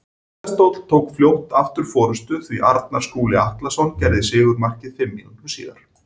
Tindastóll tók fljótt aftur forystuna því Arnar Skúli Atlason gerði sigurmarkið fimm mínútum síðar.